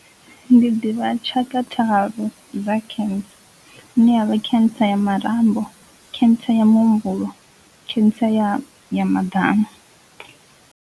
Ndi ḓivha tshaka tharu dza cancer ine yavha cancer ya marambo, cancer ya muhumbulo, cancer ya maḓamu.